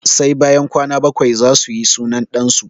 Sai bayan kwana bakwai zasu yi sunan ɗan su